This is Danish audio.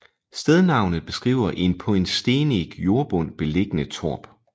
Stednavnet beskriver en på en stenig jordbund liggende torp